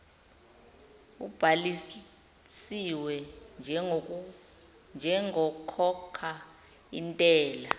ubhalisiwe njengokhokha intela